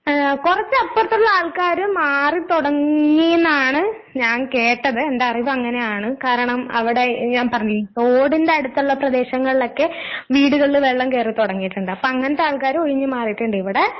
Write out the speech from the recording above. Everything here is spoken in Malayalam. ങേ കൊറച്ച് അപ്പുറത്തുള്ള ആൾക്കാര് മാറി തൊടങ്ങീന്നാണ് ഞാൻ കേട്ടത്. എന്റെ അറിവ് അങ്ങനെയാണ് കാരണം അവിടെ ഞാൻ പറഞ്ഞ് തോടിന്റെ അടുത്തുള്ള പ്രദേശങ്ങളിലൊക്കെ വീടുകളില് വെള്ളം കേറി തൊടങ്ങിയിട്ടുണ്ട്, അപ്പൊ അങ്ങനത്തെ ആൾക്കാര് ഒഴിഞ്ഞ് മാറിയിട്ടുണ്ട് ഇവിടെ.